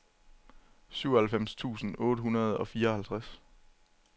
syvoghalvfems tusind otte hundrede og fireoghalvtreds